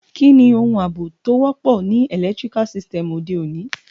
Kíni oun àbò to wọ́pọ̀ ni electrical sytem ọ̀de ọ̀ní?